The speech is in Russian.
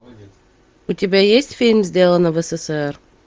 у тебя есть фильм сделано в ссср